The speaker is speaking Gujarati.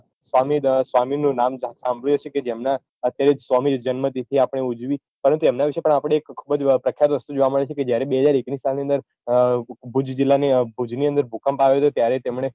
સ્વામી સ્વામીનું નામ સાંભળ્યું હશે કે જેમનાં અત્યારે સ્વામી જન્મતિથી આપણે ઉજવી પરંતુ એમના વિશે પણ આપડે જોવા મળે છે કે જયારે બે હજાર એકની સાલની અંદર ભુજ જીલ્લાની ભુજની અંદર ભૂકંપ આવ્યો હતો ત્યારે તેમણે